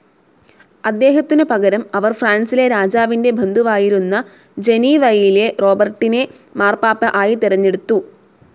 അദ്ദേഹത്തിനു പകരം അവർ, ഫ്രാൻസിലെ രാജാവിന്റെ ബന്ധുവായിരുന്ന ജനീവയിലെ റോബർട്ടിനെ മാർപ്പാപ്പ ആയി തെരഞ്ഞെടുത്തു.